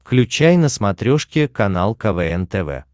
включай на смотрешке канал квн тв